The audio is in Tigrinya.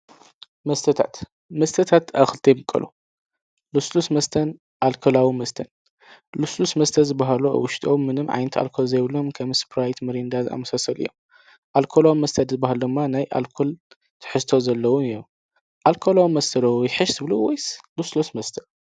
መስተታት ኣብ ክልተ ይምቀሉ ፦ልሱሉስ መስተ ኣልኮላዊ መስተ ሉሱሉስ መስተ ዝበሃሉ ኣብ ውሽቶም ምንም ዓይነት ኣልኮል ዘይብሎም ከም ስፕራይት ፣ምሪዳ ዝኣመሰሉ እዮም። ኣልኮላዊ መስተ ድማ፦ ናይ ኣልኮል ትሕዝቶ ዘለዎም እዮም። ልሱሉስ መስተ ዶ ይሓይሸ ወይስ ኣልኮላዊ መስተ?